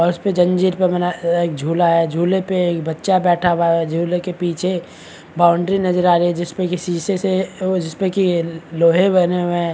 और उस पर जंजीर पर बना एक झूला है झूले पे एक बच्चा बैठा हुआ है झूले के पीछे एक बाउंड्री नजर आ रही है जिस पे की शीशे से जिस पे की लोहे बने हुए है।